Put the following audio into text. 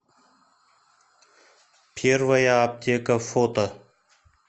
первая аптека фото